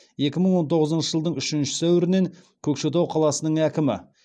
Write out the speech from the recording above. екі мың он тоғызыншы жылдың үшінші сәуірінен көкшетау қаласының әкімі